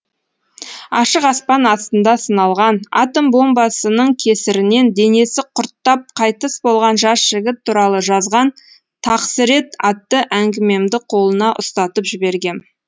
ашық аспан астында сыналған атом бомбасының кесірінен денесі құрттап қайтыс болған жас жігіт туралы жазған тақсірет аттыәңгімемді қолына ұстатып жібергем